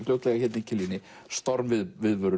fljótlega í Kiljunni